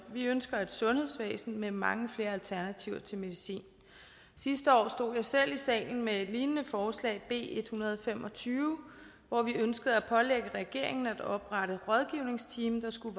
vi ønsker et sundhedsvæsen med mange flere alternativer til medicin sidste år stod jeg selv i salen med et lignende forslag b en hundrede og fem og tyve hvormed vi ønskede at pålægge regeringen at oprette rådgivningsteam der skulle